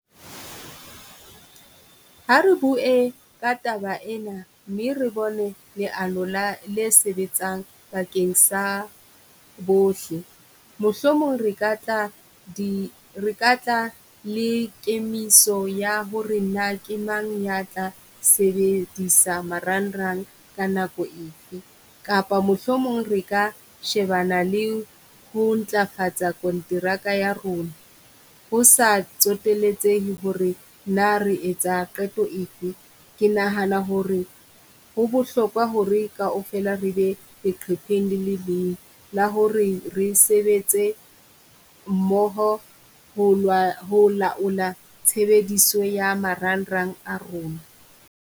Ha re bue ka taba ena mme re bone leano la le sebetsang bakeng sa bohle, mohlomong re ka tla di re ka tla le kemiso ya ho re na ke mang ya tla sebedisa marangrang ka nako efe, kapa mohlomong re ka shebana le ho ntlafatsa kontraka ya rona. Ho sa tsoteletsehe ho re na re etsa qeto efe. Ke nahana ho re ho bohlokwa ho re kaofela re be leqhepheng le le leng la ho re re sebetse mmoho ho ho laola tshebediso ya marangrang a rona.